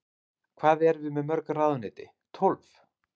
Hvað erum við með mörg ráðuneyti, tólf?